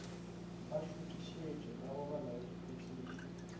ba šuthišetšwa ka go bolaodiphethiši